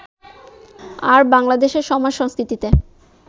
আর বাংলাদেশের সমাজ-সংস্কৃতিতে